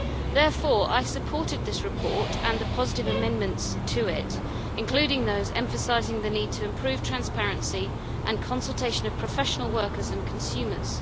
Therefore, I supported this report and the positive amendments to it, including those emphasising the need to improve transparency and consultation of professional workers and consumers.